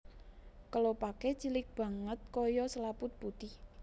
Kelopaké cilik banget kaya selaput putih